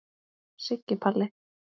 Siggi Palli.